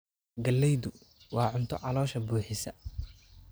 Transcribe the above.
Galleydu waa cunto caloosha buuxisa.